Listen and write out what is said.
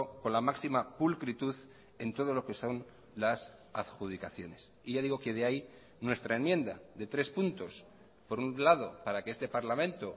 con la máxima pulcritud en todo lo que son las adjudicaciones y ya digo que de ahí nuestra enmienda de tres puntos por un lado para que este parlamento